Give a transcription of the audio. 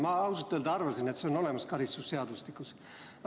Ma ausalt öeldes arvasin, et see on karistusseadustikus olemas.